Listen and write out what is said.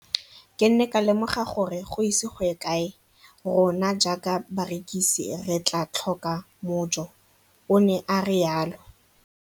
Ke ne ka lemoga gore go ise go ye kae rona jaaka barekise re tla tlhoka mojo, o ne a re jalo.